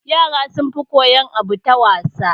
Yara sun fi koyan abu ta wasa